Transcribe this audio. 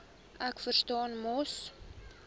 ek verstaan mos